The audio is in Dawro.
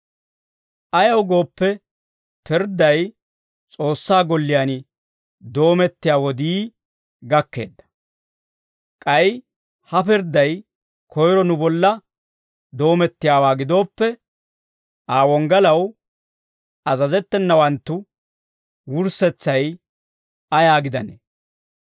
Ayaw gooppe, pirdday S'oossaa golliyaan doomettiyaa wodii gakkeedda. K'ay he pirdday koyiro nu bolla doomettiyaawaa gidooppe, Aa wonggalaw azazettenawanttu wurssetsay ayaa gidanee?